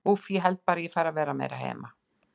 Úff, ég held bara að ég fari að vera meira heima.